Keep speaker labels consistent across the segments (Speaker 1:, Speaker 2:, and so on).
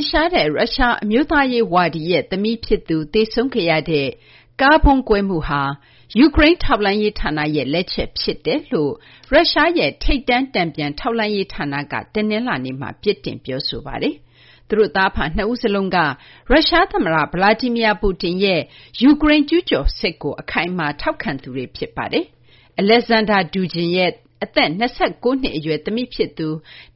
Speaker 1: င်ရှားတဲ့ ရုရှား အမျိုးသားရေး ဝါဒီရဲ့ သမီးဖြစ်သူ သေဆုံးခဲ့ရတဲ့ ကားဗုံးကွဲမှုဟာ ယူကရိန်း ထောက်လှမ်းရေးဌာနရဲ့ လက်ချက်ဖြစ်တယ်လို့ ရုရှားရဲ့ ထိပ်တန်း တန်ပြန်ထောက်လှမ်းရေး ဌာနက တနလာၤနေ့မှာ ပြစ်တင် ပြောဆိုပါတယ်။ သူတို့ သားအဖ နှစ်ဦးစလုံးက ရုရှား သမ္မတ Vladimir Putin ရဲ့ ယူကရိန်း ကျူးကျော်စစ်ကို အခိုင်အမာ ထောက်ခံသူတွေ ဖြစ်ပါတယ်။ Alexander Dugin ရဲ့ အသက် ၂၉ နှစ် အရွယ် သမီးဖြစ်သူ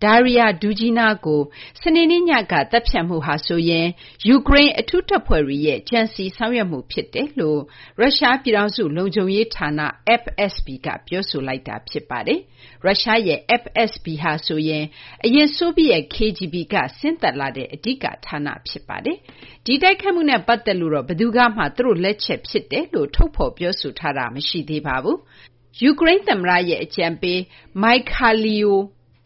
Speaker 1: Daria Dugina ကို စနေနေ့ညက သတ်ဖြတ်မှုဟာဆိုရင် ယူကရိန်း အထူးတပ်ဖွဲ့တွေရဲ့ ကြံစည် ဆောင်ရွက်မှု ဖြစ်တယ်လို့ ရုရှား ပြည်ထောင်စု လုံခြုံရေး ဌာန FSB က ပြောဆိုလိုက်တာ ဖြစ်ပါတယ်။ ရုရှားရဲ့ FSB ဟာဆိုရင် အရင် ဆိုဗီယက် KGB က ဆင်းသက်လာတဲ့ အဓိက ဌာန ဖြစ်ပါတယ်။ ဒီတိုက်ခိုက်မှုနဲ့ ပတ်သက်လို့တော့ ဘယ်သူကမှ သူတို့ လက်ချက် ဖြစ်ကြောင်း ထုတ်ဖော်ပြောဆိုထားတာ မရှိသေးပါဘူး။ ယူကရိန်း သမ္မတရဲ့ အကြံပေး Mykhailo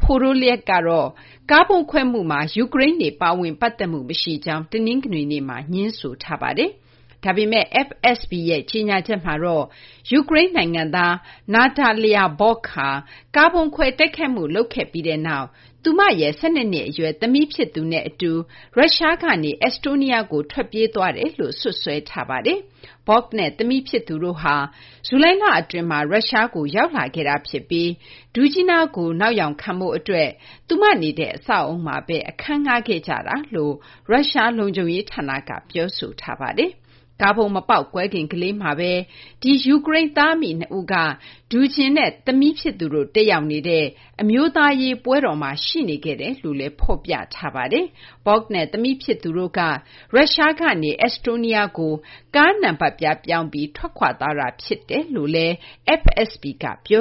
Speaker 1: Podolyak ကတော့ ကားဗုံးခွဲမှုမှာ ယူကရိန်းတွေ ပါဝင် ပတ်သက်မှု မရှိကြောင်း တနင်္ဂနွေနေ့မှာ ငြင်းဆိုထားပါတယ်။ ဒါပေမယ့် FSB ရဲ့ ကြေညာချက်မှာတော့ ယူကရိန်း နိုင်ငံသား Natalya Vovk ဟာ ကားဗုံးခွဲ တိုက်ခိုက်မှု လုပ်ခဲ့ပြီးနောက် သူမရဲ့ ၁၂ နှစ် အရွယ် သမီး ဖြစ်သူနဲ့ အတူ ရုရှားကနေ အက်စတိုးနီးယားကို ထွက်ပြေးသွားကြောင်း စွပ်စွဲထားပါတယ်။ Vovk နဲ့ သမီး ဖြစ်သူတို့ဟာ ဇူလိုင်လ အတွင်းမှာ ရုရှားကို ရောက်လာခဲ့တာ ဖြစ်ပြီး Dugina ကို နောက်ယောင်ခံဖို့ အတွက် သူမ နေတဲ့ အဆောက်အအုံမှာဘဲ အခန်းငှား ခဲ့ကြတယ်လို့ ရုရှား လုံခြုံရေး ဌာနက ပြောဆိုထားပါတယ်။ ကားဗုံးမပေါက်ကွဲခင် ကလေးမှာဘဲ ဒီ ယူကရိန်း သားအမိ နှစ်ဦးက Dugin နဲ့ သမီး ဖြစ်သူတို့ တက်ရောက်နေကြတဲ့ အမျိုးသားရေး ပွဲတော်မှာ ရှိနေခဲ့ကြောင်းလည်း ဖော်ပြထားပါတယ်။ Vovk နဲ့ သမီး ဖြစ်သူတို့က ရုရှား ကနေ အက်စတိုးနီးယားကို ကားနံပတ်ပြား ပြောင်းပြီး ထွက်ခွာသွားတာ ဖြစ်တယ်လို့လည်း FSB က ပြော